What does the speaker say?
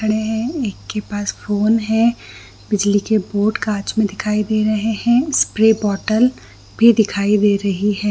खड़े है एक के पास फ़ोन है बिजली के बोर्ड कांच में दिखाई दे रहे है स्प्रे बोतल भी दिखाई दे रही है।